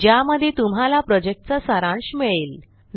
ज्यामध्ये तुम्हाला प्रॉजेक्टचा सारांश मिळेल